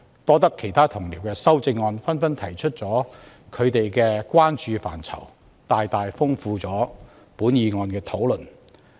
有賴其他同事提出修正案，加入他們關注的範疇，大大豐富了本議案的討論。